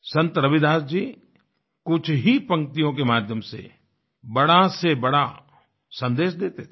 संत रविदास जी कुछ ही पंक्तियों के माध्यम से बड़ा से बड़ा सन्देश देते थे